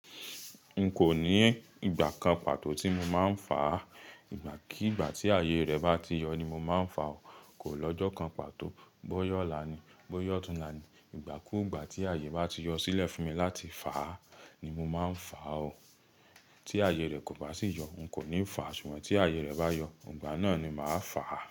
N kò ní ìgbà kan pàtó tí mo máa ń fà á, ìgbà kí ìgbà tí ààyè rẹ̀ bá ti yọ ni mo máa ń fà ó, kò lọ́jọ́ kan pàtó. Bọ́yá ọlà ni, bọ́yá ọtúnlà ni, ìgbà kú ìgbà tí ààyè bá ti yọ sílẹ̀ fún mi láti fà á ni mo máa ń fà ó. Tí ààyè rẹ̀ kò bá sì yọ, n kò ní fà á ṣùgbọ́n tí ààyè rẹ̀ bá yọ, ìgbà náà ni màá fà á.